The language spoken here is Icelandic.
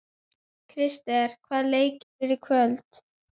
Krister, hvaða leikir eru í kvöld?